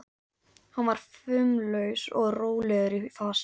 Hann var fumlaus og rólegur í fasi.